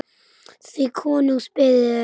því konungs beðið er